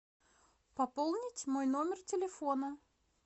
пополнить мой номер телефона